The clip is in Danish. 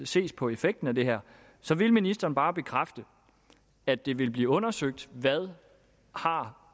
ses på effekten af det her så vil ministeren bare bekræfte at det vil blive undersøgt hvad